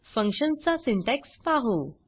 function चा syntax पाहू